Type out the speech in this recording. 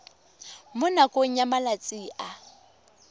mo nakong ya malatsi a